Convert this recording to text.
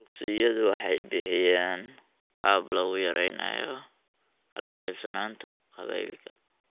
Dugsiyadu waxay bixiyaan qaab lagu yareynayo kala qaybsanaanta qabaa'ilka .